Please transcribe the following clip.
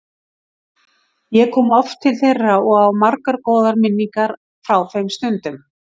Ég kom oft til þeirra og á margar góðar minningar frá þeim stundum.